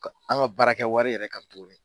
An ka baara kɛ wari yɛrɛ ka tuguni